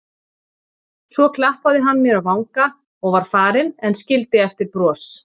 Svo klappaði hann mér á vanga og var farinn en skildi eftir bros.